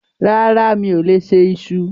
Rárá, mi ò lè se iṣu.